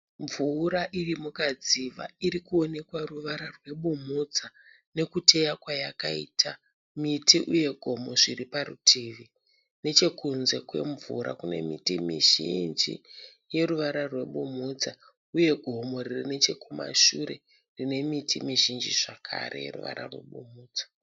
Mvura iri mukadziva iri kuwonekwa ruvara rwebumhudza nekuteya kwayakaita miti uye gomo zviri parutivi. Nechekunze kwemvura kune miti mizhinji yeruvara rwebumhudza uye gomo riri nechekumashure rine miti mizhinji zvakare yeruvara rwebumhudza.